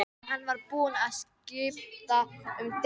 Hann var búinn að skipta um dekk.